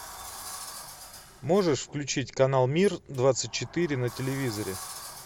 можешь включить канал мир двадцать четыре на телевизоре